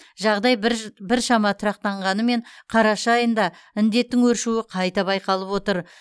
жағдай біршама тұрақтанғанымен қараша айында індеттің өршуі қатты байқалып отыр